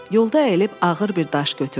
Yolda əyilib ağır bir daş götürdü.